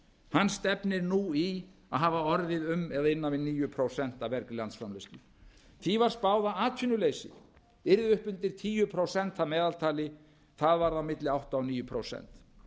hann stefnir nú í að hafa orðið um eða innan við níu prósent af vergri landsframleiðslu því var spáð að atvinnuleysi yrði upp undir tíu prósent að meðaltali það varð á milli átta og níu prósent